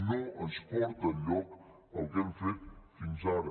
no ens porta enlloc el que hem fet fins ara